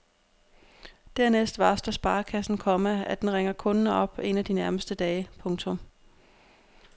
Dernæst varsler sparekassen, komma at den ringer kunden op en af de nærmeste dage. punktum